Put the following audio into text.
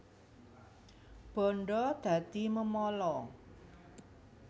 Bandha dadi memala